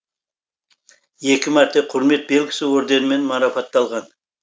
екі мәрте құрмет белгісі өрденімен марапатталған